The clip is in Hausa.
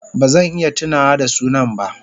Ba zan iya tunawa da sunan ba.